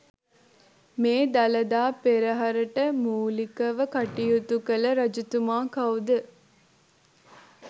මේ දළදා පෙරහරට මූලිකව කටයුතු කළ රජතුමා කවුද?